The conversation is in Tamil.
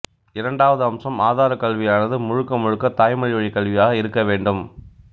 இரண்டாவது அம்சம் ஆதாரக் கல்வியானது முழுக்க முழுக்கத் தாய்மொழிவழிக் கல்வியாக இருக்கவேண்டும்